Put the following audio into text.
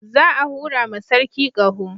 Za a hura ma sarki ƙaho